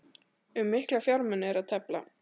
Um mikla fjármuni er að tefla